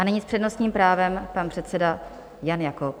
A nyní s přednostním právem pan předseda Jan Jakob.